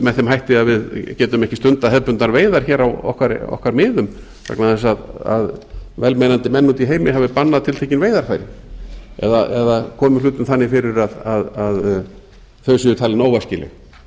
með þeim hætti að við getum ekki stundað hefðbundnar veiðar hér á okkar miðum vegna þess að velmeinandi menn úti í heimi hafi bannað tiltekin veiðarfæri eða komið hlutum þannig fyrir að þau séu talin óæskileg ég